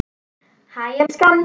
Hæ elskan!